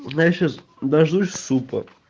я сейчас дождусь супа